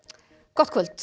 gott kvöld